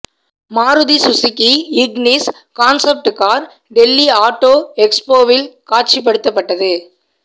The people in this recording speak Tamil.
Maruti Suzuki Ignis concept car Delhi auto எக்ஸ்போவில் காட்சிபடுத்தபட்டது